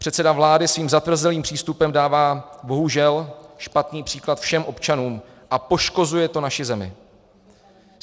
Předseda vlády svým zatvrzelým přístupem dává bohužel špatný příklad všem občanům a poškozuje to naši zemi.